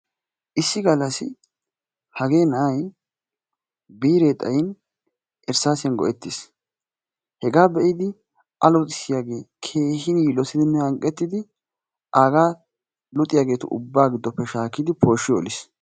issi galassi hagee na'ay biiree xayin irsaasiyan go; etiisn hegaa be'iddio luxxissiyagee aagaa luxxiyageetu ubaa giddoppe shaakkidi pooshshi oliis.